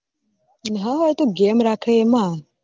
હ હ એ તો જેમ રાખે એમાં